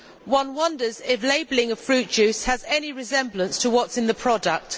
One wonders if the labelling of fruit juice has any resemblance to what is in the product.